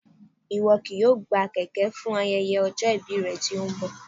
Ìwọ kì yóò gbà kèké fún ayẹyẹ ọjọ́ ìbí rẹ tí ó ń bọ̀